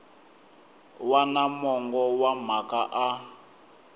wana mongo wa mhaka a